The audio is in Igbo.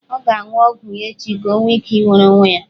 Ọ ga-aṅụ ọgwụ ya echi ka o nwee ike nwere onwe ya.